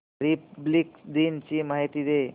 Republic दिन ची माहिती दे